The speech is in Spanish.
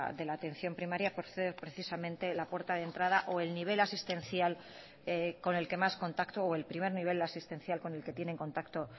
de la atención primaria por ser precisamente la puerta de entrada o el nivel asistencial con el que más contacto o el primer nivel asistencial con el que tienen contacto